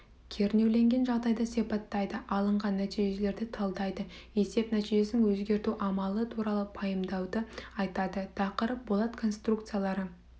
кернеуленген жағдайды сипаттайды алынған нәтижелерді талдайды есеп нәтижесін өзгерту амалы туралы пайымдауды айтады тақырып болат конструкциялары